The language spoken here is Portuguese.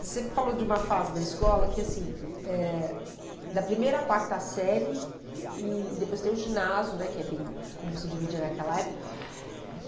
Você falou de uma fase da escola que, assim, eh, da primeira à quarta série, e depois tem o ginásio né, que é bem como se dividia naquela época.